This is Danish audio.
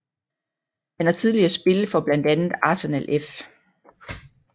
Han har tidligere spillet for blandt andet Arsenal F